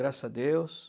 Graças a Deus.